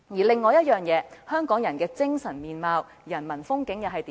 另外，香港人的精神面貌、人民風景又是如何？